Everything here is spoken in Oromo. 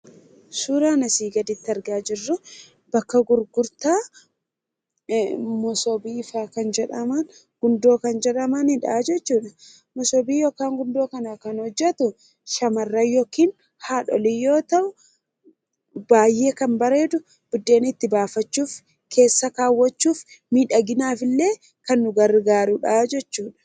Suuraan asii gaditti argaa jirru bakka gurgurtaa masoobiifaa kan jedhaman, gundoo kan jedhamanidha jechuudha. Masoobii yookaan gundoo kana kan hojjetu shamarran yookiin haadholii yoo ta'u, baay'ee kan bareedu buddeen itti baafachuuf, keessa kaawwachuuf, miidhaginaafillee kan nu gargaarudha jechuudha.